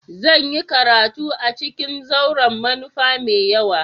Zan yi karatu a ciƙin zauren manufa mai yawa.